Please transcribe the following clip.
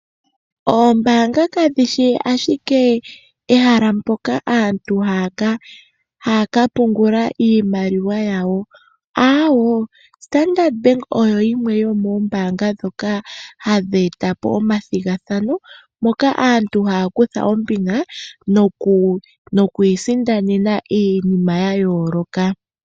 Oombanga kadhishi ashike ehala mpoka aantu ha ya ka pungula iimaliwa yawo, aawo, Standard Bank oyo yimwe yomoombanga ndhoka hadhi etapo omathigathano, moka aantu ha ya kutha ombinga no ku isindanena iinima yayooloka.